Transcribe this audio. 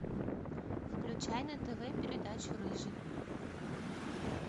включай на тв передачу рыжий